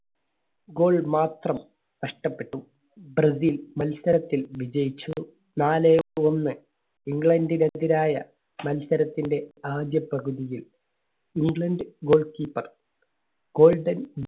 goal മാത്രം നഷ്ടപ്പെട്ടു. Brazil മത്സരത്തിൽ വിജയിച്ചു. നാലേ ഒന്ന് ഇംഗ്ലണ്ടിനെതിരായ മത്സരത്തിന്റെ ആദ്യ പകുതിയിൽ ഇംഗ്ലണ്ട് goal keepergolden